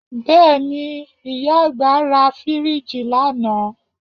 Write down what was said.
Bẹ́ẹ̀ni, ìyá àgbà ra fíríìjì lánàá